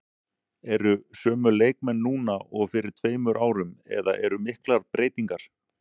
Eru sömu leikmenn núna og fyrir tveimur árum eða eru miklar breytingar?